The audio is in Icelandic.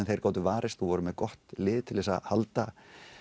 þeir gátu varist og voru með gott lið til þess að halda